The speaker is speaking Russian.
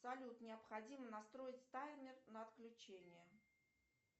салют необходимо настроить таймер на отключение